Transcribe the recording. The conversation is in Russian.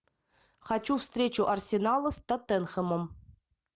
хочу встречу арсенала с тоттенхэмом